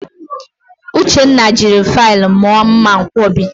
Uchenna jiri faịlụ mụọ mmanwkọbi